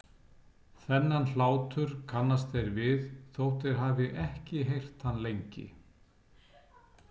Þennan hlátur kannast þeir við þótt þeir hafi ekki heyrt hann lengi.